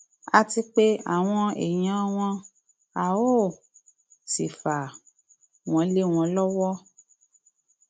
a ti pe àwọn èèyàn wọn a ó um sì fà wọn lé wọn lọwọ um